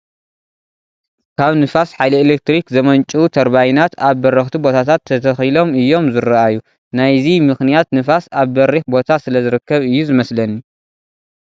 ካብ ንፋስ ሓይሊ ኤለክትሪክ ዘምንጭው ተርባይናት ኣብ በረኽቲ ቦታታት ተተኺሎም እዮም ዝርአዩ፡፡ ናይዚ ምኽንያት ንፋስ ኣብ በሪኽ ቦታ ስለዝርከብ እዩ ዝመስለኒ፡፡